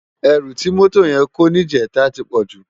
Èrú ti mótó yèn kó nijètá ti pòjú